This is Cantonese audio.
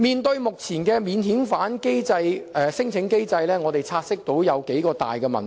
就目前的免遣返聲請機制，我們察悉存在數大問題。